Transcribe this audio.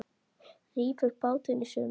Rífur bátinn í sundur.